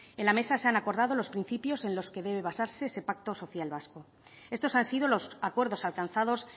en la mesa se han acordado los principios en los que debe basarse ese pacto social vasco estos han sido los acuerdos alcanzados